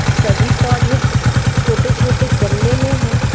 सभी पौधे छोटे-छोटे गमले में हैं।